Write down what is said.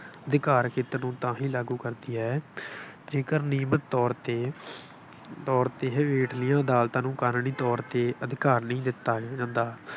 ਅਧਿਕਾਰ ਖੇਤਰ ਨੂੰ ਤਾਂ ਹੀ ਲਾਗੂ ਕਰਦੀ ਹੈ ਜੇਕਰ ਨਿਯਮਤ ਤੌਰ ਤੇ ਤੌਰ ਤੇ ਇਹ ਹੇਠਲੀ ਅਦਾਲਤਾਂ ਨੂੰ ਕਾਨੂੰਨੀ ਤੌਰ ਤੇ ਅਧਿਕਾਰ ਨਹੀਂ ਦਿੱਤਾ ਜਾਂਦਾ।